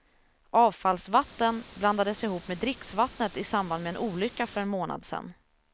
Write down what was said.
Avfallsvatten blandades ihop med dricksvattnet i samband med en olycka för en månad sen.